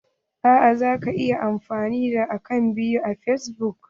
Eh zaka iya amfani da akant biyu a fasbuk.